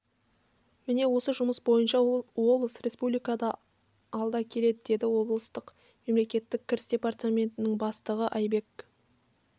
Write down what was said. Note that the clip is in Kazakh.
міне осы жұмыс бойынша облыс республикада алда келеді деді облыстық мемлекеттік кіріс департаментінің бастығы айбек